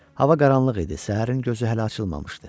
Hava qaranlıq idi, səhərin gözü hələ açılmamışdı.